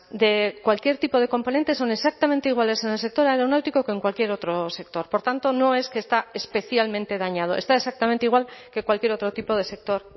de cualquier tipo de componentes son exactamente iguales en el sector aeronáutico que en cualquier otro sector por tanto no es que está especialmente dañado está exactamente igual que cualquier otro tipo de sector